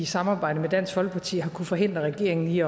samarbejdet med dansk folkeparti har kunnet forhindre regeringen i